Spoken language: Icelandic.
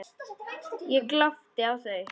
Ég glápi á þau.